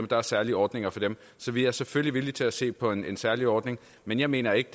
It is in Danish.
der er særlige ordninger for dem så vi er selvfølgelig villige til at se på en særlig ordning men jeg mener ikke